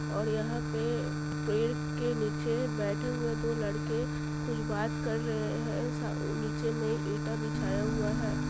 और यहां पर पे पेड़ के निचे बैठे हुए दो लड़के कुछ बात कार रहे हैं सा निचे में एटा बिछाया हुआ है।